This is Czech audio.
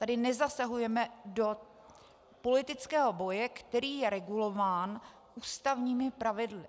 Tady nezasahujeme do politického boje, který je regulován ústavními pravidly.